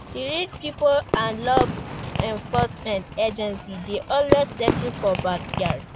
Di rich pipo and law enforcement agency de always settle for backyard